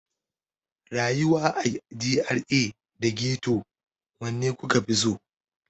Rayuwa a GRA da Ghetto, wanne kuka fi so?